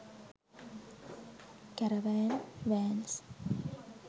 caravan vans